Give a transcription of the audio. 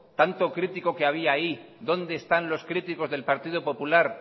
tanto crítico que había ahí dónde están los críticos del partido popular